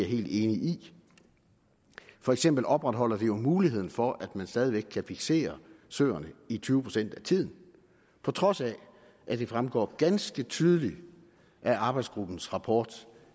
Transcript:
helt enig i for eksempel opretholder vi jo muligheden for at man stadig væk kan fiksere søerne i tyve procent af tiden på trods af at det fremgår ganske tydeligt af arbejdsgruppens rapport